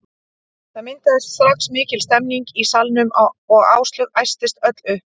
Það myndaðist strax mikil stemning í salnum og Áslaug æstist öll upp.